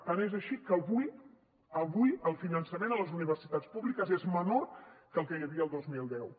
tant és així que avui el finançament a les universitats públiques és menor que el que hi havia el dos mil deu